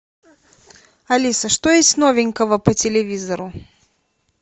алиса что есть новенького по телевизору